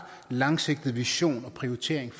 langsigtet vision og prioritering